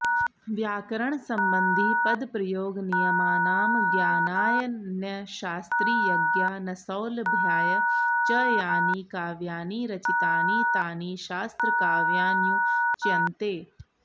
व्याकरणसम्बन्धिपदप्रयोगनियमानां ज्ञानायान्यशास्त्रीयज्ञानसौलभ्याय च यानि काव्यानि रचितानि तानि शास्त्रकाव्यान्युच्यन्ते